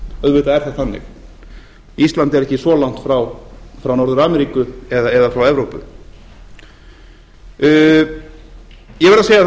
auðvitað er það þannig ísland er ekki svo langt frá norður ameríku eða frá evrópu ég verð að segja